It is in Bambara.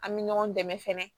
An bɛ ɲɔgɔn dɛmɛ fɛnɛ